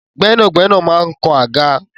Gbẹnagbẹna man kán agá.